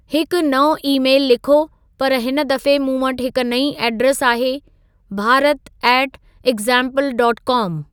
हिकु नओं ई-मेलु लिखो पर हिन दफ़े मूं वटि हिक नई एड्रेस आहे Bharat at example dot com